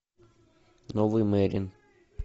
новый мерин